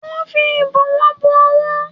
Ó fi ìbọwọ́ bo owó